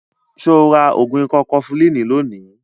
Ṣo ra ògùn ikọ́ kọfulínì lónìí?